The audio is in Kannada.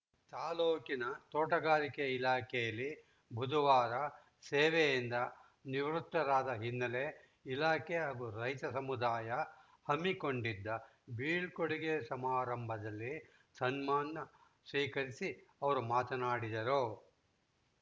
ತಾಲೂಕಿನ ತೋಟಗಾರಿಕೆ ಇಲಾಖೆಯಲ್ಲಿ ಬುಧವಾರ ಸೇವೆಯಿಂದ ನಿವೃತ್ತರಾದ ಹಿನ್ನೆಲೆ ಇಲಾಖೆ ಹಾಗೂ ರೈತ ಸಮುದಾಯ ಹಮ್ಮಿಕೊಂಡಿದ್ದ ಬೀಳ್ಕೊಡುಗೆ ಸಮಾರಂಭದಲ್ಲಿ ಸನ್ಮಾನ ಸ್ವೀಕರಿಸಿ ಅವರು ಮಾತನಾಡಿದರು